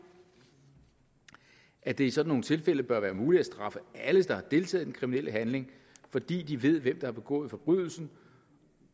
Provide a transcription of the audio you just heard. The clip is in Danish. at det i sådan nogle tilfælde bør være muligt at straffe alle der har deltaget i den kriminelle handling fordi de ved hvem der har begået forbrydelsen